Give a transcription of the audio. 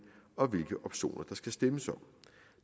og hvilke optioner der skal stemmes om